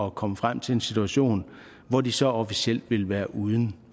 at komme frem til en situation hvor de så officielt ville være uden